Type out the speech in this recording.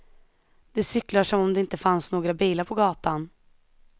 De cyklar som om det inte fanns några bilar på gatan.